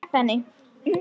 Sleppa henni.